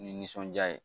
Ni nisɔndiya ye